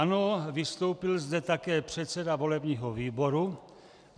Ano, vystoupil zde také předseda volebního výboru.